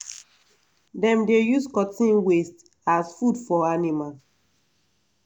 dem dey use cotton waste as food for animal